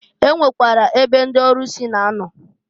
E nwekwara ebe ndị ọlụsị na-anọ.